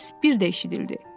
Səs bir də eşidildi.